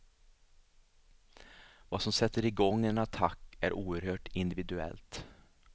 Vad som sätter igång en attack är oerhört individuellt.